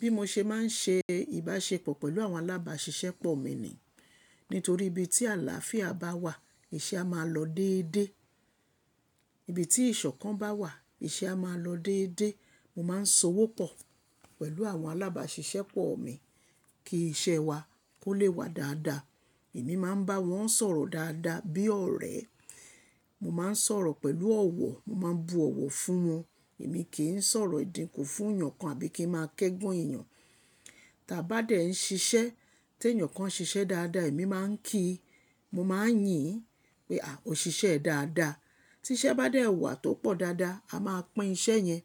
Bí mo ṣe máa ń ṣe ìbáṣepọ̀ pẹ̀lú àwọn alábáṣiṣẹ́pọ̀ mi ni nítorí ibi tí àlàáfíà bá wà, iṣẹ́ a máa lọ déédé. Ibi tí ìṣọ̀kan bá wà, iṣẹ́ a máa lọ déédé. Mo máa ń so'wo pọ̀ pẹ̀lú àwọn alábáṣiṣẹ́pọ̀ mi kí iṣẹ́ wa kó lè wá dáadáa. Èmi máa ń bá wọn sọ̀rọ̀ dáadáa bí ọ̀rẹ́. Mo máa ń sọ̀rọ̀ pẹ̀lú ọ̀wọ̀, mo máa ń bu ọ̀wọ̀ fún wọn. Èmi kì í sọ̀rọ̀ ìdínkù fún èèyàn kan àbí kí ń máa kẹ́gàn èèyàn. T'áa bá dẹ̀ ń ṣiṣẹ́. Tí èèyàn kan ṣiṣẹ́ dáadáa, èmi má ń kí, mo má ń yìn pé: O ṣiṣẹ́ ẹ dáadáa tí iṣẹ́ bá dé wà tó pọ̀ dáadáa, a máa pín iṣẹ́ yẹn.